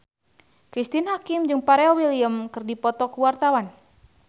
Cristine Hakim jeung Pharrell Williams keur dipoto ku wartawan